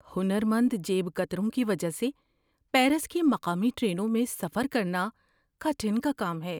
ہنر مند جیب کتروں کی وجہ سے پیرس کی مقامی ٹرینوں میں سفر کرنا کٹھن کا کام ہے۔